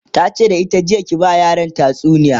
tace da ita jiya "ki ba ma yaran tatsuniya!"